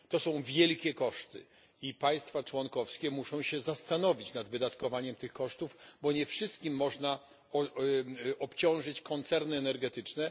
To są wielkie koszty i państwa członkowskie muszą się zastanowić nad wydatkowaniem tych kosztów, bo nie wszystkimi kosztami można obciążyć koncerny energetyczne.